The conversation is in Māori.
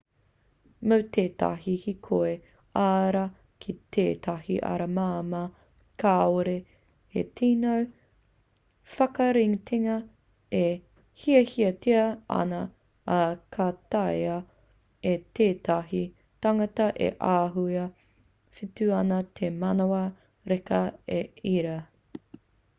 mō tētahi hīkoi ā-rā ki tētahi ara māmā kāore he tino whakaritenga e hiahiatia ana ā ka taea e tētahi tangata e āhua whiti ana te manawa reka i ērā